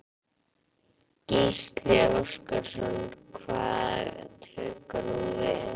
Gísli Óskarsson: Hvað tekur nú við?